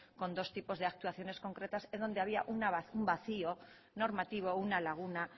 con dos tipos de actuaciones concretas en donde había un vacío normativo una laguna